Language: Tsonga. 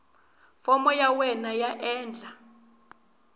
fomo ya wena yo endla